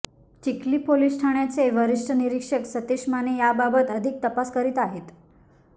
Chikhli police ठाण्याचे वरिष्ठ निरीक्षक सतीश माने याबाबत अधिक तपास करीत आहेत